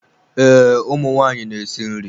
Ee, ụmụ nwanyị na-esi nri.